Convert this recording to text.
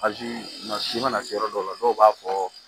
Aji ma si mana se yɔrɔ dɔw la dɔw b'a fɔ